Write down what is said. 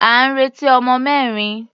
À ń retí ọmọ mẹ́rin.